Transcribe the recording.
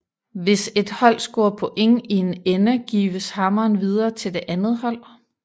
Hvis et hold scorer point i en ende gives hammeren videre til det andet hold